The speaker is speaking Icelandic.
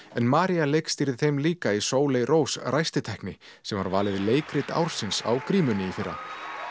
María leikstýrði þeim líka í Sóley Rós sem var valið leikrit ársins á grímunni í fyrra